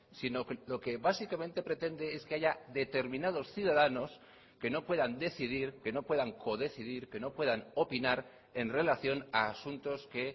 sino lo que básicamente pretende es que haya determinados ciudadanos que no puedan decidir que no puedan codecidir que no puedan opinar en relación a asuntos que